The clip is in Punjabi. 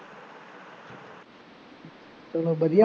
ਚੱਲੋ ਵਧੀਆ